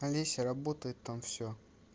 олеся работает там все